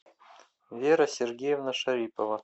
вера сергеевна шарипова